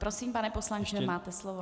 Prosím, pane poslanče, máte slovo.